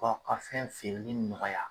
Ka ka fɛn feereli nɔgɔya.